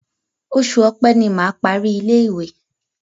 Oṣù Ọpẹ́ ni mà á parí ilé-ìwé.